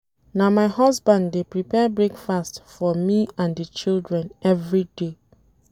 Na my husband dey prepare breakfast for me and di children everyday.